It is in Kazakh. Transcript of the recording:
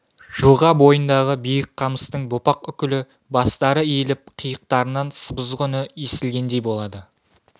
жылға бойындағы биік қамыстың бопақ үкілі бастары иіліп қияқтарынан сыбызғы үні естілгендей болады